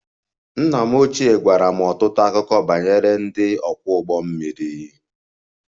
Nna m ochie gwara m ọtụtụ akụkọ banyere ndị ọkwọ ụgbọ mmiri